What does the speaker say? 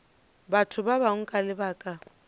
batho ba bangwe ka lebaka